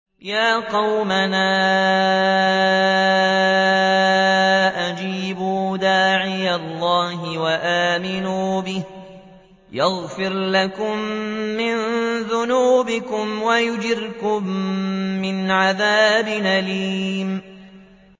يَا قَوْمَنَا أَجِيبُوا دَاعِيَ اللَّهِ وَآمِنُوا بِهِ يَغْفِرْ لَكُم مِّن ذُنُوبِكُمْ وَيُجِرْكُم مِّنْ عَذَابٍ أَلِيمٍ